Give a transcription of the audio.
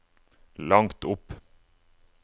langt opp